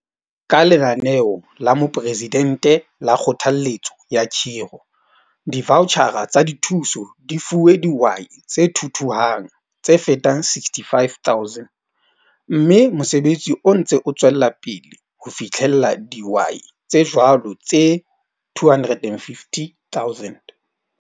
Ka Lenaneo la Moporesidente la Kgothalletso ya Khiro, divautjhara tsa dithuso di fuwe dihwai tse thuthuhang tse fetang 65 000, mme mosebetsi o ntse o tswela pele ho fitlhella dihwai tse jwalo tse 250 000.